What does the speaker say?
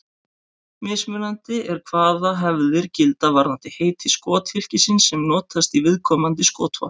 Mismunandi er hvaða hefðir gilda varðandi heiti skothylkisins sem notast í viðkomandi skotvopn.